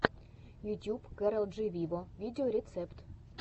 ютьюб кэрол джи виво видеорецепт